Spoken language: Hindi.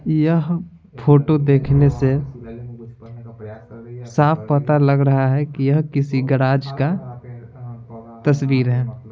यह फोटो देखने से साफ पता लग रहा है कि यह किसी गैरेज का तस्वीर है।